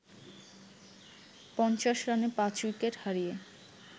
৫০ রানে পাঁচ উইকেট হারিয়ে